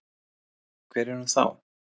Hver er hún þá?